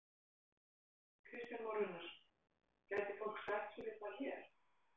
Kristján Már Unnarsson: Gæti fólk sætt sig við það hér?